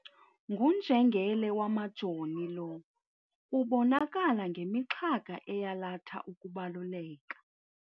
Ngunjengele wamajoni lo ubonakala ngemixhaka eyalatha ukubaluleka.